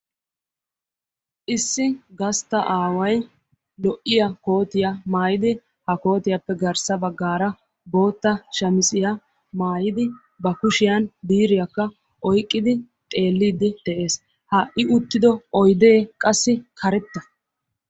Issi gastta aaway lo"iyaa koottiyaa mayyidi ha koottiyaappe garssa baggara boota shammisiyaa maayyidi ba kushiyaan biiriyakka oyqqidi xeelide de'ees; ha I uttidio oyde qassi karetta.